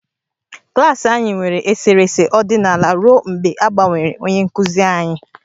Klas anyị nwere eserese ọdịnala ruo mgbe a gbanwere onye nkuzi anyị